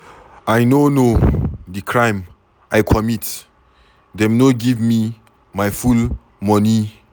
I no know the crime I comit. Dem no give me my full money.